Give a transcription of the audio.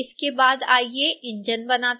इसके बाद आइए इंजन बनाते हैं